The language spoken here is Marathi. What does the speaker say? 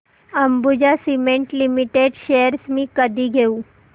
अंबुजा सीमेंट लिमिटेड शेअर्स मी कधी घेऊ